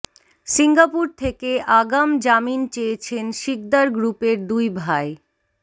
Singapore থেকে আগাম জামিন চেয়েছেন সিকদার গ্রুপের দুই ভাই